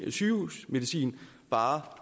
sygehusmedicin bare